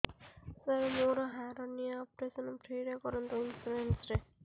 ସାର ମୋର hernia operation free ରେ କରନ୍ତୁ ଇନ୍ସୁରେନ୍ସ ରେ